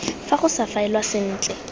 fa go sa faelwa sentle